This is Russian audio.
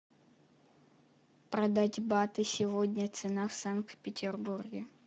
продать баты сегодня цена в санкт петербурге